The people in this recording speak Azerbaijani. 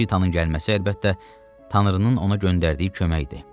Şitanın gəlməsi əlbəttə, tanrının ona göndərdiyi kömək idi.